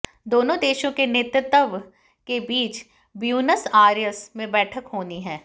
दोनों देशों के नेतृत्व के बीच ब्यूनस आयर्स में बैठक होनी है